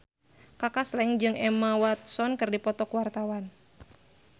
Kaka Slank jeung Emma Watson keur dipoto ku wartawan